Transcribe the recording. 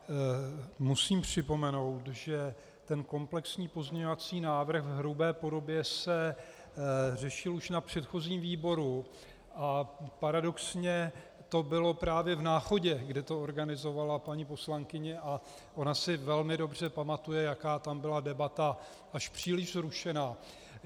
Musím připomenout, že ten komplexní pozměňovací návrh v hrubé podobě se řešil už na předchozím výboru, a paradoxně to bylo právě v Náchodě, kde to organizovala paní poslankyně, a ona si velmi dobře pamatuje, jaká tam byla debata až příliš vzrušená.